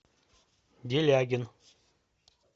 делягин